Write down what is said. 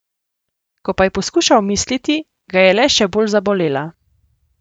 Ko pa je poskušal misliti, ga je le še bolj zabolela.